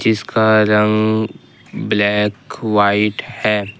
इसका रंग black white हैं।